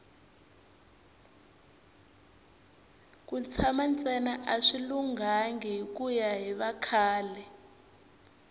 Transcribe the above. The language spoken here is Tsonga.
ku tshana ntsena a swi lunghanga hikuya hi vakhale